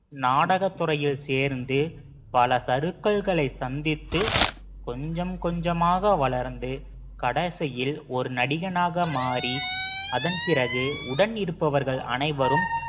நாடகத் துறையில் சேர்ந்து பல சறுக்கல்களை சந்தித்து கொஞ்சம் கொஞ்சமாக வளர்ந்து கடைசியில் ஒரு நடிகனாக மாறி அதன் பிறகு உடன் இருப்பவர்கள் அனைவரும்